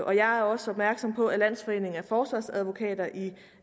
og jeg er også opmærksom på at landsforeningen af forsvarsadvokater i